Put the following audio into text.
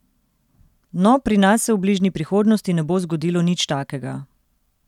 No, pri nas se v bližnji prihodnosti ne bo zgodilo nič takega.